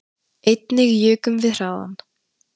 Einnig jukum við hraðann